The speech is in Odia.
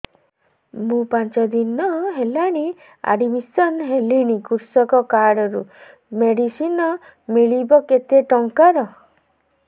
ମୁ ପାଞ୍ଚ ଦିନ ହେଲାଣି ଆଡ୍ମିଶନ ହେଲିଣି କୃଷକ କାର୍ଡ ରୁ ମେଡିସିନ ମିଳିବ କେତେ ଟଙ୍କାର